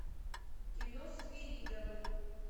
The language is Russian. кино свиридовы